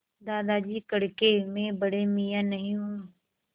दादाजी कड़के मैं बड़े मियाँ नहीं हूँ